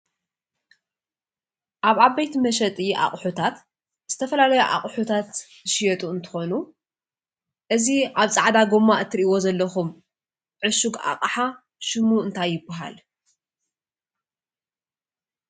ኣብ ዓበይቲ መሸጢ ኣቑሑታት ዝተፈላለዩ ኣቑሑታት ዝሽየጡ እንትኾኑ እዚ ኣብ ፃዕዳ ጎማ እትሪእዎ ዘለኹም ዕሹግ ኣቕሓ ሽሙ እንታይ ይባሃል?